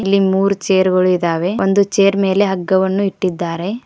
ಇಲ್ಲಿ ಮೂರ್ ಚೇರುಗಳಿದ್ದಾವೆ ಒಂದು ಚೇರ್ ಮೇಲೆ ಹಗ್ಗವನ್ನು ಇಟ್ಟಿದ್ದಾರೆ.